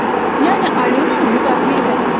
Yəni Alenanı müdafiə elədim dedim.